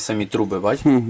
Eyni borular, görürsən?